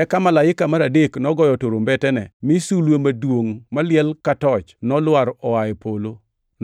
Eka malaika mar adek nogoyo turumbetene mi sulwe maduongʼ maliel ka toch nolwar oa e polo,